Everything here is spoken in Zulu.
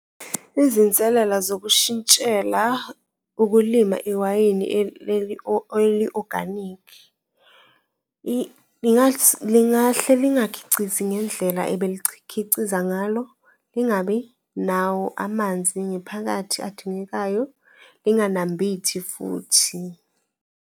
Izinselela zokushintshela ukulima iwayini leli eli-oganikhi lingahle lingakhicizi ngendlela ebelikhiciza ngalo, lingabi nawo amanzi ngephakathi adingekayo, linganambithi futhi.